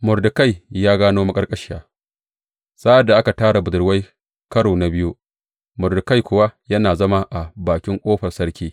Mordekai ya gano maƙarƙashiya Sa’ad da aka tara budurwai karo na biyu, Mordekai kuwa yana zama a bakin ƙofar sarki.